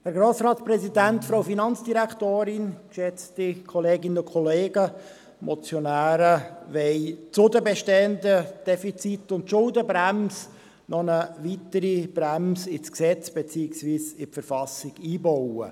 Die Motionäre wollen zu den bestehenden Defiziten und zur Schuldenbremse noch eine weitere Bremse ins Gesetz beziehungsweise in die Verfassung einbauen.